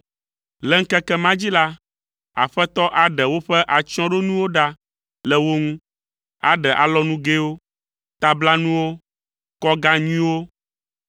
Le ŋkeke ma dzi la, Aƒetɔ aɖe woƒe atsyɔ̃ɖonuwo ɖa le wo ŋu: aɖe alɔnugɛwo, tablanuwo, kɔga nyuiwo,